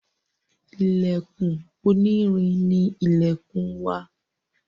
Ilèkùn oní irin ni ilèkùn wa